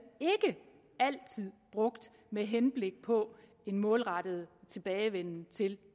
brugt med henblik på en målrettet tilbagevenden til